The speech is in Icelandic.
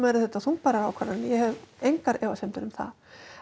þungbærar ákvarðanir ég hef engar efasemdir um það